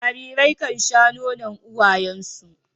Jarirai kan sha nonon uwayen su.